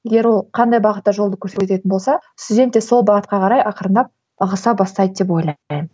егер ол қандай бағытта жолды көрсететін болса студент те сол бағытқа қарай ақырындап ығыса бастайды деп ойлаймын